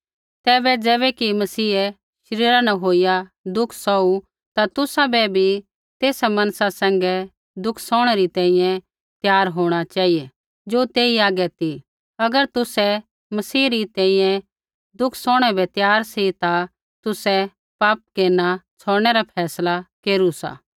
तैबै ज़ैबैकि मसीहै शरीरा न होईया दुख सौहू ता तुसाबै भी तेसा मनसा सैंघै दुःख सौहणै री तैंईंयैं त्यार होंणा चेहिऐ ज़ो तेई हागै ती अगर तुसै मसीह री तैंईंयैं दुःख सौहणै बै त्यार सी ता तुसै पापा केरना छ़ौड़नै रा फैसला केरू सा